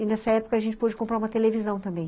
E, nessa época, a gente pôde comprar uma televisão também.